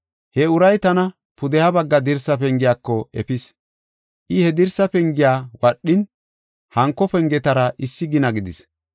He uray tana pudeha bagga dirsa pengiyako efis. I he dirsa pengiya wadhin, hanko pengetara issi gina gidis.